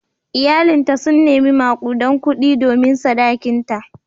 Iyalinta sun nemi makudan kudi domin sadakinta.